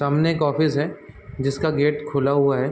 सामने एक ऑफिस है जिसका गेट खुला हुआ है।